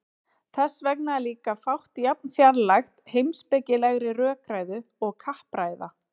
þess vegna er líka fátt jafn fjarlægt heimspekilegri rökræðu og kappræða